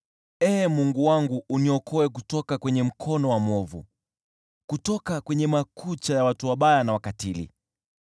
Ee Mungu wangu uniokoe kutoka kwenye mkono wa mwovu, kutoka kwenye makucha ya watu wabaya na wakatili.